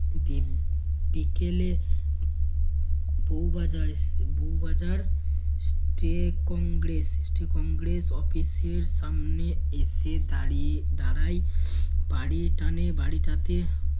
বিকেলে বউ বাজার বউ বাজার কংগ্রেস কংগ্রেস office এর সামনে এসে দাঁড়িয়ে দাঁড়ায় বাড়ি টানে বাড়িটাতে